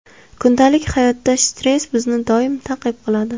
Kundalik hayotda stress bizni doim ta’qib qiladi.